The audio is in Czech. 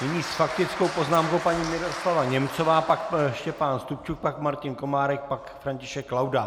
Nyní s faktickou poznámkou paní Miroslava Němcová, pak Štěpán Stupčuk, pak Martin Komárek, pak František Laudát.